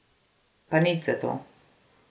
Pa nič zato.